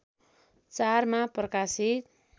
४ मा प्रकाशित